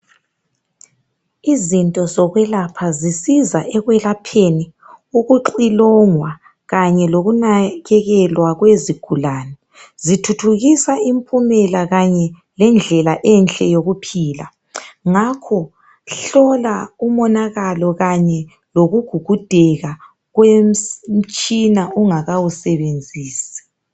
Izinto zokwelapha zisiza ekwelapheni ukuxhilongwa kanye lokunakekelwa kwezigulane zithuthukisa impumela kanye lendlela enhle yokuphila ngakho hlola umonakalo kanye lokugugudeka komtshina ungakawusebenzisi